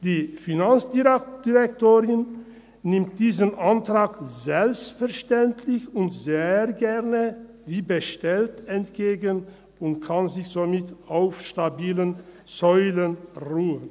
Die Finanzdirektorin nimmt diesen Antrag selbstverständlich und sehr gerne wie bestellt entgegen und kann somit auf stabilen Säulen ruhen.